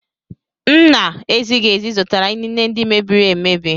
M na-ezighị ezi zụtara inine ndị mebiri emebi.